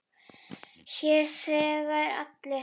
Hér þegja allir.